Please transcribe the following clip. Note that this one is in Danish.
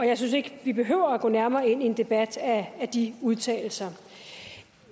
jeg synes ikke vi behøver at gå nærmere ind i en debat af de udtalelser